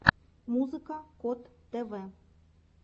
музыка кот тв